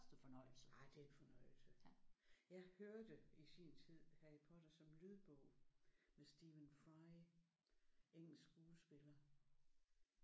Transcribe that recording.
Ah det er en fornøjelse. Jeg hørte i sin tid Harry Potter som lydbog med Stephen Fry engelsk skuespiller